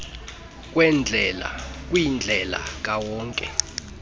kweendlela kwindlela kawonke